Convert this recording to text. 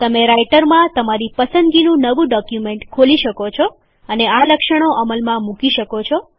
તમે રાઈટરમાં તમારી પસંદગીનું નવું ડોક્યુમેન્ટ ખોલી શકો છો અને આ લક્ષણો અમલમાં મૂકી શકો છો